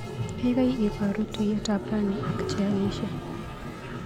Kaikai ibaru tuiyetab rani ak chealishe.